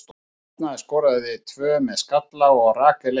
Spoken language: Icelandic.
Arna skorar tvö með skalla og Rakel eitt.